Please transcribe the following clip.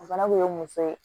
O fana kun ye muso ye